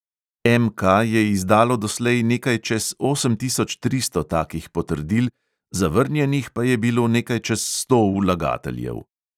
MK je izdalo doslej nekaj čez osem tisoč tristo takih potrdil, zavrnjenih pa je bilo nekaj čez sto vlagateljev.